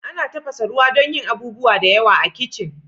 Ana tafasa ruwa dan yin abubuwa da yawa a kitchen.